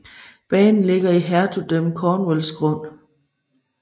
Banen ligger i Hertugdømmet Cornwalls grund